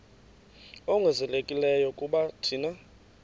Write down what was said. ongezelelekileyo kuba thina